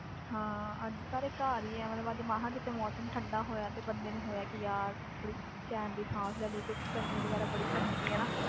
ਹਾਂ ਅੱਜ ਸਾਰੇ ਘਰ ਹੀ ਹੈ ਮਤਲਬ ਅੱਜ ਮਸਾਂ ਕਿਤੇ ਮੌਸਮ ਠੰਢਾ ਹੋਇਆ ਤੇ ਬੰਦੇ ਨੂੰ ਹੋਇਆ ਕਿ ਯਾਰ ਥੋੜ੍ਹੀ ਚੈਨ ਦੀ ਸਾਹ ਲੈ ਲਈਏ ਕਿਉਂਕਿ ਗਰਮੀ ਵਗ਼ੈਰਾ ਬੜੀ ਪੈਂਦੀ ਪਈ ਆ ਨਾ।